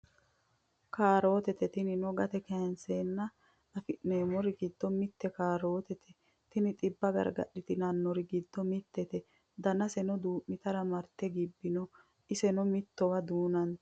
Caarottete tinino gatte kaayinise afinemorri giddo mitte caarottete tinino xibba gariggaritanonori giddo mittete danasenno duumidhara maritte gibbino isenno mittowa dunnonite